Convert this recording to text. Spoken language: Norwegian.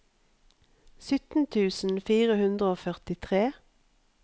sytten tusen fire hundre og førtitre